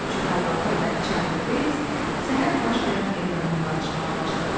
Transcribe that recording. Cüvəllağı və Çarli Beyts səhər baş verən edamdan danışmağa başladılar.